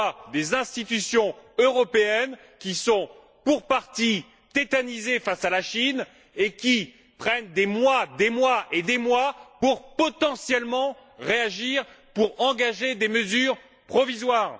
On voit des institutions européennes qui sont, pour partie, tétanisées face à la Chine, et qui prennent des mois et des mois pour potentiellement réagir, pour engager des mesures provisoires.